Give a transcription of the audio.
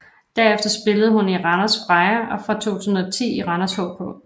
Derefter spillede hun i Randers Freja og fra 2010 i Randers HK